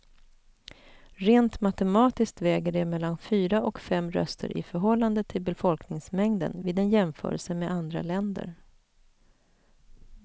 Rent matematiskt väger det mellan fyra och fem röster i förhållande till befolkningsmängden vid en jämförelse med andra länder.